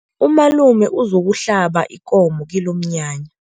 Umalume uzokuhlaba ikomo kilomnyanya.